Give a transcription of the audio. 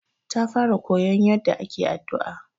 Ta fara koyon yaɗɗa ake addu'a.